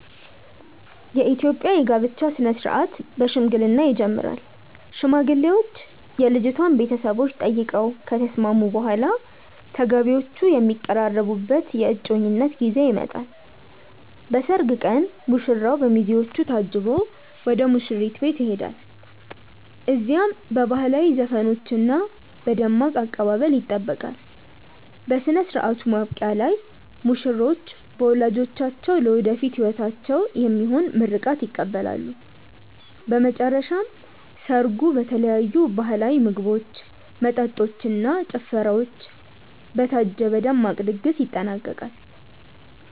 የኢትዮጵያ የጋብቻ ሥነ ሥርዓት በሽምግልና ይጀምራል። ሽማግሌዎች የልጅቷን ቤተሰቦች ጠይቀው ከተስማሙ በኋላ፣ ተጋቢዎቹ የሚቀራረቡበት የእጮኝነት ጊዜ ይመጣል። በሰርግ ቀን ሙሽራው በሚዜዎቹ ታጅቦ ወደ ሙሽሪት ቤት ይሄዳል። እዚያም በባህላዊ ዘፈኖችና በደማቅ አቀባበል ይጠበቃል። በሥነ ሥርዓቱ ማብቂያ ላይ ሙሽሮች በወላጆቻቸው ለወደፊት ሕይወታቸው የሚሆን ምርቃት ይቀበላሉ። በመጨረሻም ሰርጉ በተለያዩ ባህላዊ ምግቦች፣ መጠጦች እና ጭፈራዎች በታጀበ ደማቅ ድግስ ይጠናቀቃል።